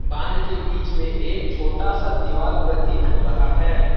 बांध के बीच में एक छोटा सा दिवाल प्रतीत हो रहा है ।